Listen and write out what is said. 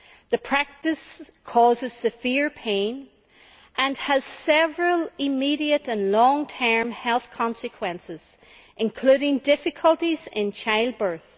The practice causes severe pain, and has several immediate and long term health consequences, including difficulties in child birth.